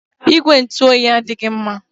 Igwe ntụ oyi adịghị mma.